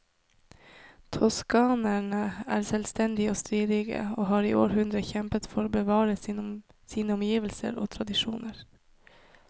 Toskanerne er selvstendige og stridige, og har i århundrer kjempet for å bevare sine omgivelser og tradisjoner.